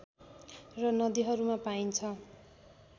र नदीहरूमा पाइन्छ